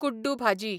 कुड्डू भाजी